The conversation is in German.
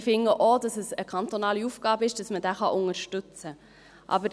Ich finde auch, dass es eine kantonale Aufgabe ist, dass man diesen unterstützen kann.